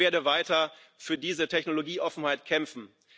Ich werde weiter für diese Technologieoffenheit kämpfen.